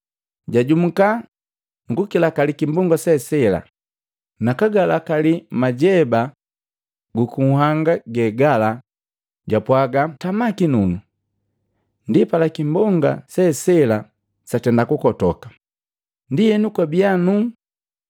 Jajumuka nu kukilakali kimbonga se sela, nakagalakali majeba guku nhanga ge gala japwaga, “Tama kinunu!” Ndipala kimbonga se sela satenda kukotoka, ndienu kwabia nuu.